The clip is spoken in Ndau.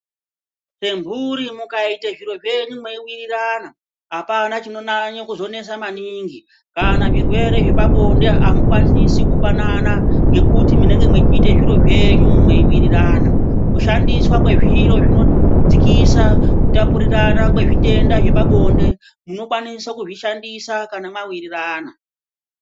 Emhuri mukaite zviro zvenyu mweiwirira apana chinonyanye kuzonesa maningi kana zvirwere zvepabinde amukwanisi kupanana ngekuti munenge mweiite zviro zvenyu mweiwirirana kushandiswa kwezviro zvinodzikisa kutapurirana kwrzvirwere zvepabinde munokwanisa kuzvishandisa kana mwawirirana.